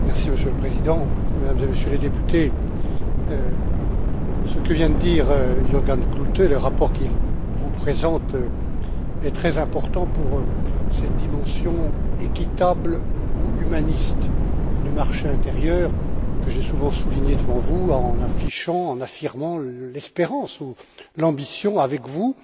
Monsieur le Président, Mesdames et Messieurs les députés, ce que vient de dire Jürgen Klute dans le rapport qu'il vous présente est très important pour la dimension équitable ou humaniste du marché intérieur, que j'ai souvent soulignée devant vous, en affichant et en affirmant l'espérance ou l'ambition, avec vous,